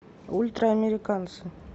ультраамериканцы